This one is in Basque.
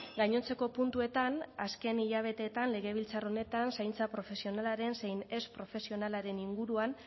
gainontzeko puntuetan azken hilabeteetan legebiltzar honetan zaintza profesionalaren zein ez profesionalaren inguruan